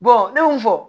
ne y'o fɔ